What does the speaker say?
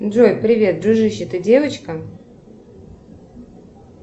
джой привет дружище ты девочка